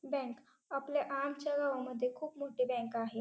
Bank आपल्या आमच्या गावामध्ये खूप मोठी बँक आहे.